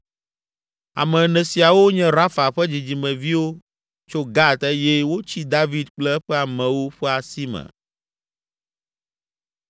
Ame ene siawo nye Rafa ƒe dzidzimeviwo tso Gat eye wotsi David kple eƒe amewo ƒe asi me.